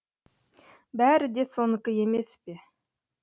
бәрі де сонікі емес пе